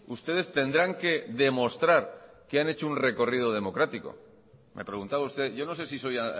ustedes tendrán que demostrar que han hecho un recorrido democrático me preguntaba usted yo no sé si soy